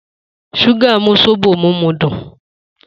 Suga mu zobo mimu dun